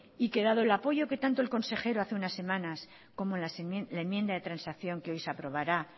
y dado el apoyo que tanto el consejero hace unas semanas como la enmienda de transacción que hoy se aprobará